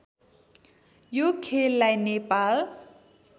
यो खेललाई नेपाल